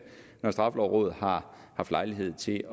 når straffelovrådet har haft lejlighed til